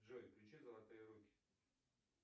джой включи золотые руки